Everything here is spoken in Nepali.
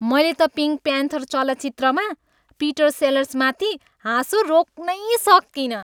मैले त पिङ्क प्यान्थर चलचित्रमा पिटर सेलर्समाथि हाँसो रोक्नै सकिनँ।